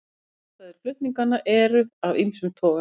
Ástæður flutninganna eru af ýmsum toga